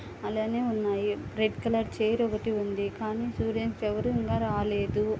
అలానే ఉన్నాయి. Red colour chair ఒకటి ఉంది. కానీ స్టూడెంట్స్ ఎవరు ఇంకా రాలేదు.